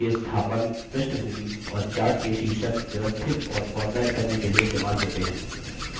यह chart के स्थापन पृष्ठभूमि और chart के शीर्षक व्यवस्थित और फ़ॉर्मेट करने के लिए इस्तेमाल होते हैं